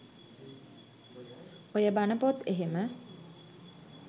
ඔය බන පොත් එහෙම